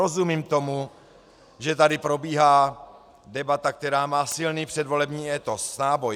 Rozumím tomu, že tady probíhá debata, která má silný předvolební étos, náboj.